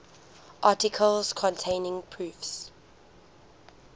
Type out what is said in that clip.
articles containing proofs